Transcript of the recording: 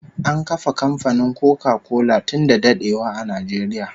An kafa kamfanin Koka kola tun da dadewa a Najeriya